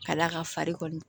Ka d'a kan fari kɔni